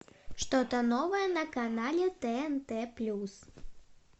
что то новое на канале тнт плюс